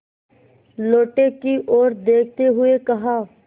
लोटे की ओर देखते हुए कहा